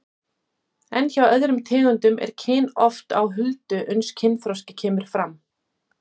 En hjá öðrum tegundum er kyn oft á huldu uns kynþroski kemur fram.